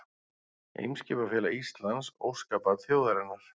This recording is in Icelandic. Eimskipafélag Íslands, óskabarn þjóðarinnar